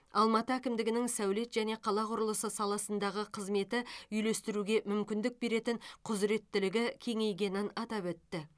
алматы әкімдігінің сәулет және қала құрылысы саласындағы қызметі үйлестіруге мүмкіндік беретін құзыреттілігі кеңейгенін атап өтті